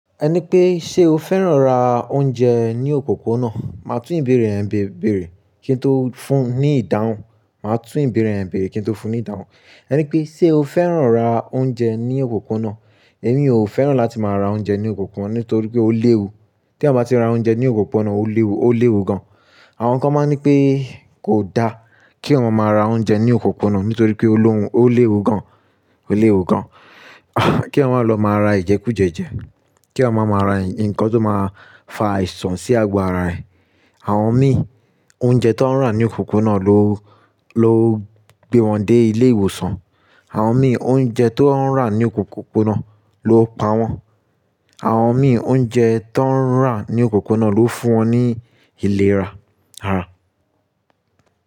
Ẹni pé, ṣe o fẹ́ràn ra oúnjẹ ní òpópónà? Máa tún ìbéèrè yẹn berè, kí n tó fún ní ìdáhùn. Máa tún ìbéèrè yen berè kí n tó fún ní ìdáhùn. Ẹni pé, ṣe o fẹ́ràn ra oúnjẹ ní òpópónà? Èmi ò fẹ́ràn láti máa ra oúnjẹ ní òpópónà nítorí pé ó léwu. Tí a bá ti ra oúnjẹ ní òpópónà ó léwu, ó léwu gan. Àwọn kan máa ń nipé kò da kí awon máa ra oúnjẹ ní òpópónà nítorí pé ó léwu gan, ó léwu gan. Kí eyan má lọ máa ra Ìjẹkújẹjẹ. Kí wọ́n má máa ra ǹkan tó máa fa àìsàn sí agbára ẹ̀. Àwọn mìí, oúnjẹ tó ń rà ní òpópónà ló, ló gbé wọn dé ilé ìwòsàn. Àwọn mìíràn oúnjẹ tó ń rà ní òpópónà ló pa wọ́n. Àwọn mìíràn oúnjẹ tó ń rà ní òpópónà ló fún wọn ní ìlera ara.